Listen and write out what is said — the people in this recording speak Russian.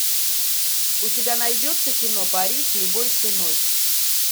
у тебя найдется кино париж любой ценой